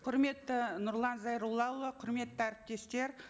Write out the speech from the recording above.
құрметті нұрлан зайроллаұлы құрметті әріптестер